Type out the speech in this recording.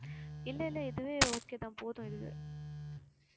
இல்லை, இல்லை இதுவே okay தான் போதும் இதுவே